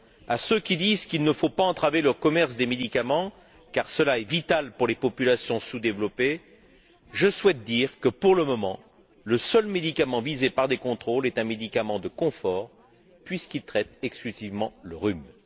À ceux qui disent qu'il ne faut pas entraver le commerce des médicaments, car cela est vital pour les populations sous développées, je souhaite dire que, pour le moment, le seul médicament visé par des contrôles est un médicament de confort puisqu'il traite exclusivement le rhume.